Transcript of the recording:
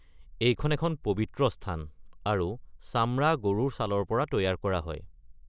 এইখন এখন পৱিত্ৰ স্থান আৰু চামৰা গৰুৰ ছালৰ পৰা তৈয়াৰ কৰা হয়।